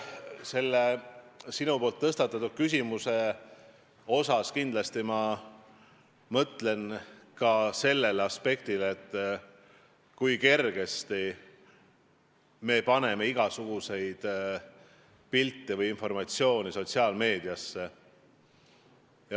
Sinu küsimuse puhul ma kindlasti mõtlen ka sellele aspektile, kui kergesti me paneme igasuguseid pilte või informatsiooni sotsiaalmeediasse.